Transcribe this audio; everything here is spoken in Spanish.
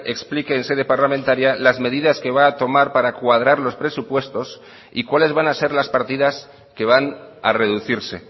explique en sede parlamentaria las medidas que va a tomar para cuadrar los presupuestos y cuáles van a ser las partidas que van a reducirse